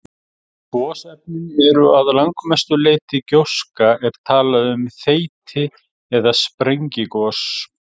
Ef gosefnin eru að langmestu leyti gjóska er talað um þeyti- eða sprengigos.